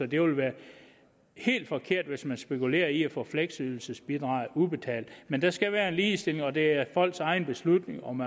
det vil være helt forkert hvis man spekulerer i at få fleksydelsesbidraget udbetalt men der skal være ligestilling og det er folks egen beslutning om